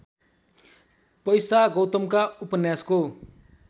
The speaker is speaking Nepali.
पैसा गौतमका उपन्यासको